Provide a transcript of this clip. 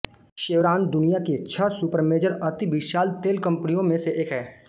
chevron दुनिया की छह सुपरमेजर अति विशाल तेल कंपनियों में से एक है